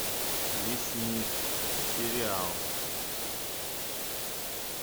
лесник сериал